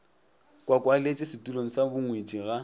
kwakwaletše setulong sa bongwetši ga